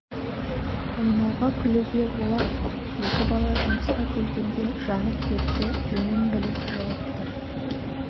ойнауға күлуге олақ екі бала жұмысқа келгенде жанып кетті жөнін біліп жылып тұр